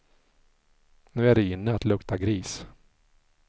Nu är det inne att lukta gris.